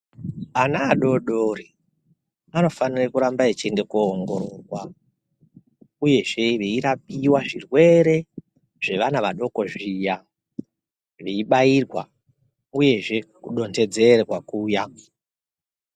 Ana adodori, anofanira kuramba echiende koongororwa, uyezve veirapiwa zvirwere zvevana vadoko zviya, veibairwa uyezve kutontedzerwa kuya.